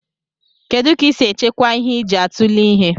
Kedu ka isi echekwa ihe iji atule ihe?